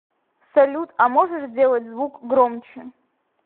салют а можешь сделать звук громче